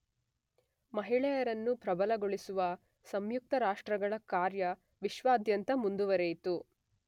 ಮಹಿಳೆಯರನ್ನ ಪ್ರಭಲಗೊಳಿಸುವ ಸಂಯುಕ್ತ ರಾಷ್ರಗಳ ಕಾರ್ಯ ವಿಶ್ವದಾದ್ಯಂತ ಮುಂದುವರೆಯಿತು.